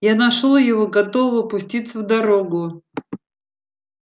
я нашёл его готового пуститься в дорогу